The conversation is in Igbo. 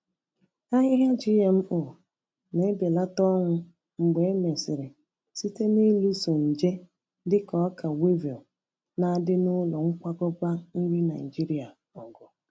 Ahịhịa GMO na-ebelata ọnwụ mgbe e mesịrị site n’ịlụso nje dịka ọka weevil na-adị na ụlọ nkwakọba nri Naijiria ọgụ.